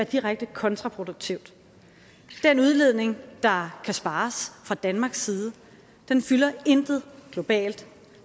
direkte kontraproduktivt den udledning der kan spares fra danmarks side fylder intet globalt